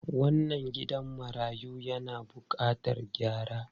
Wannan gidan marayu yana bukatar gyara.